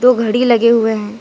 दो घड़ी लगे हुए हैं ।